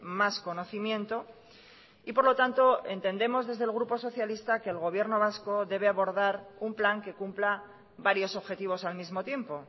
más conocimiento y por lo tanto entendemos desde el grupo socialista que el gobierno vasco debe abordar un plan que cumpla varios objetivos al mismo tiempo